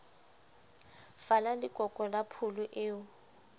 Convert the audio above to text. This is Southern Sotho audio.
fala lekoko la pholo eo